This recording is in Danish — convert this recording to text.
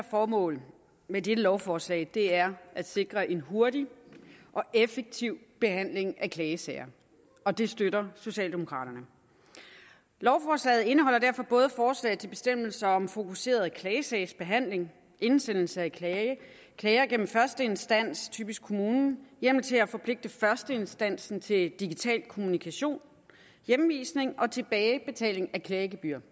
formål med dette lovforslag er at sikre en hurtig og effektiv behandling af klagesager og det støtter socialdemokraterne lovforslaget indeholder derfor forslag til bestemmelser om fokuseret klagesagsbehandling indsendelse af klager gennem første instans typisk kommunen hjemmel til at forpligte førsteinstansen til digital kommunikation hjemvisning og tilbagebetaling af klagegebyrer